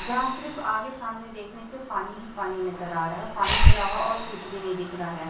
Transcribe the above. जहां सिर्फ आगे सामने देखने से पानी ही पानी नजर आ रहा है। पानी के अलावा और कुछ भी नहीं दिख रहा है।